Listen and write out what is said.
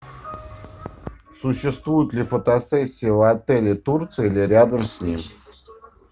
существует ли фотосессия в отеле турции или рядом с ним